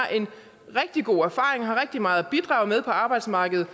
rigtig god erfaring og har rigtig meget at bidrage med på arbejdsmarkedet